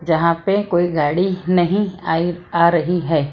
जहां पे कोई गाड़ी नहीं आई आ रही है।